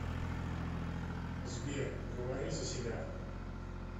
сбер говори за себя